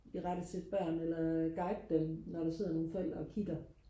irettesætte børnene eller guide dem når der sidder nogle forældre og kigger